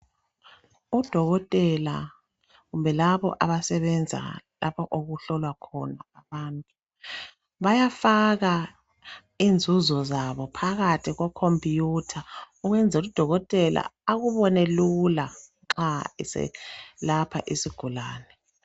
Odokotela kumbe labo abasebenza lapho okuhlolwa khona abantu bayafaka inzuzo zabo phakathi kwe khompuyutha ukwenzela udokotela akubone lula nxa eselapha isigulane.